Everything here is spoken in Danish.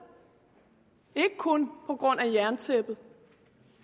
ikke kun på grund af jerntæppet